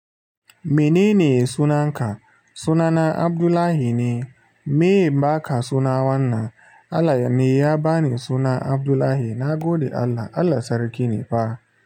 Minene sunanka? Sunana Abdullahi ne, meye inbaka suna wannan? Allah ne ya bani suna Abdullahi. Na gode Allah, Allah Sarki ne fa.